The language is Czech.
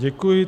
Děkuji.